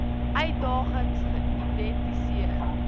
uitdagings geïdenti seer